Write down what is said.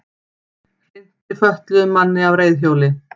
Hrinti fötluðum manni af reiðhjóli